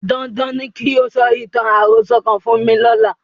Dandan ni kí o sọ ìtàn àròsọ kan fún mi lọ́la.